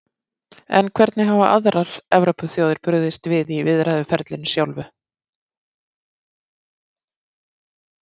En hvernig hafa aðrar Evrópuþjóðir brugðist við í viðræðuferlinu sjálfu?